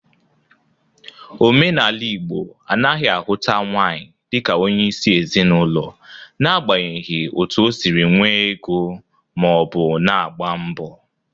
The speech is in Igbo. Omenala Igbo anaghị ahụta nwaanyị dịka onyeisi ezinaụlọ nagbanyeghi oto o siri nwee ego ma ọ bụ na-agba mbọ.